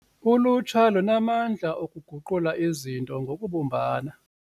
Ulutsha lunamandla okuguqula izinto ngokubumbana.